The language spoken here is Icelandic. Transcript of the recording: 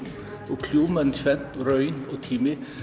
og kljúfum tvennt raun og tími